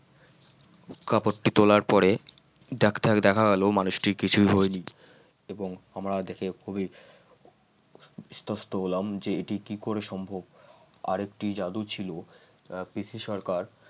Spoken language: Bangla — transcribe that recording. কাপড়টি তোলার পরে দেখ দেখ দেখা গেল মানুষটির কিছুই হয়নি এবং আমরা দেখে খুবই ইস্তস্ত হলাম যে এটি কি করে সম্ভব আরেকটি জাদু ছিল আহ পিসি সরকার